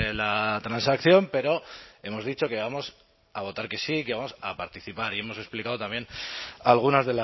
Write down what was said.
la transacción pero hemos dicho que vamos a votar que sí que vamos a participar y hemos explicado también algunas